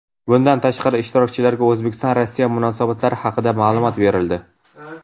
Bundan tashqari, ishtirokchilarga O‘zbekiston–Rossiya munosabatlari haqida ma’lumot berildi.